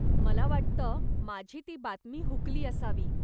मला वाटतं, माझी ती बातमी हूकली असावी.